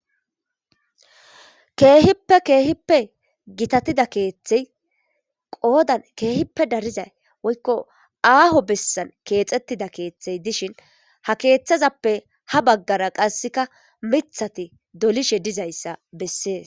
Keehippe keehippe gitatida keeththey qoodan keehippe dariza aaho bessan keexettida keeththay dishin ha keeththazappe ha baggara qasse miththati dolishe dizaysa bessees.